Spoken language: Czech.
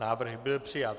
Návrh byl přijat.